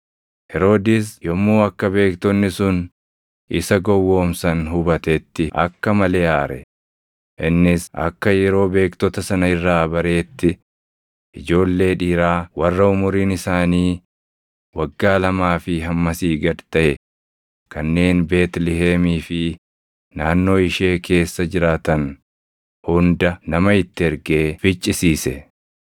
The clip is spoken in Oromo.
Heroodis yommuu akka beektonni sun isa gowwoomsan hubatetti akka malee aare; innis akka yeroo beektota sana irraa bareetti, ijoollee dhiiraa warra umuriin isaanii waggaa lamaa fi hammasii gad taʼe kanneen Beetlihemii fi naannoo ishee keessa jiraatan hunda nama itti ergee ficcisiise.